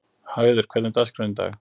Hauður, hvernig er dagskráin í dag?